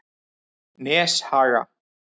Neshaga